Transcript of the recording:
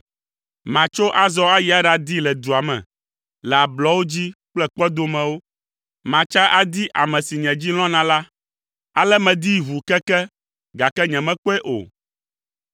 Matso azɔ ayi aɖadii le dua me, le ablɔwo dzi kple kpɔdomewo. Matsa adi ame si nye dzi lɔ̃na la, ale medii ʋuu keke, gake nyemekpɔe o.